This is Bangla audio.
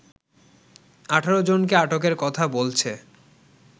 ১৮জনকে আটকের কথা বলছে